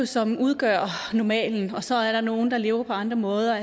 som udgør normalen og så er der nogle der lever på andre måder